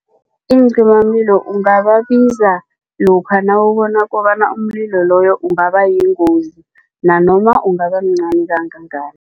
Iincimamlilo ungababiza lokha nawubona kobana umlilo loyo ungaba yingozi nanoma ungabamncani kangangani.